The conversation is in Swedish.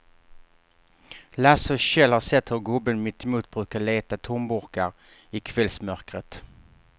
Lasse och Kjell har sett hur gubben mittemot brukar leta tomburkar i kvällsmörkret.